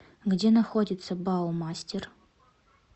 где находится баумастер